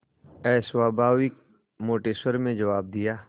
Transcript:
अस्वाभाविक मोटे स्वर में जवाब दिया